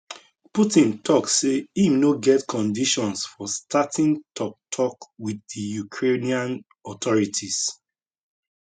putin tok say im no get conditions for starting toktok wit di ukrainian authorities